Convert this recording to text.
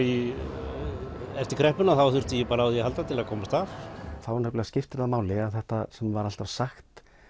eftir kreppuna þá þurfti ég bara á því að halda til þess að komast af þá nefnilega skiptir það máli að þetta sem var alltaf sagt